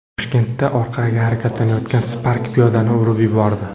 Toshkentda orqaga harakatlanayotgan Spark piyodani urib yubordi .